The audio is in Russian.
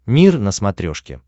мир на смотрешке